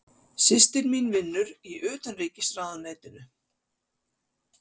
Systir mín vinnur í Utanríkisráðuneytinu.